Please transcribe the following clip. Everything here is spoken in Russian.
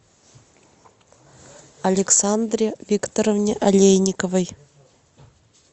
александре викторовне алейниковой